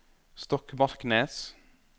Stokmarknes